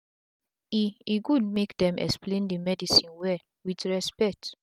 e e gud make dem explain d medicine well wit respect